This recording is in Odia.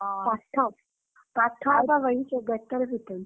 ପାଠ ପାଠ ଆଉ ଙ୍କ କହିବି ସେଇ ବେତ ରେ ପିଟନ୍ତି।